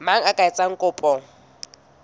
mang ya ka etsang kopo